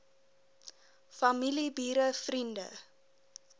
familie bure vriende